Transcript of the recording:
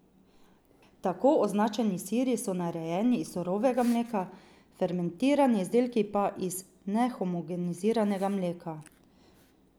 Tako označeni siri so narejeni iz surovega mleka, fermentirani izdelki pa iz nehomogeniziranega mleka.